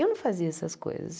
Eu não fazia essas coisas.